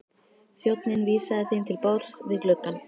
Þjónninn vísaði þeim til borðs við gluggann.